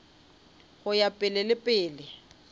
go ya pele le pele